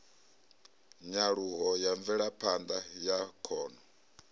nyaluho ya mvelaphanda ya khono